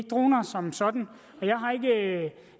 droner som sådan